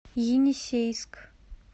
енисейск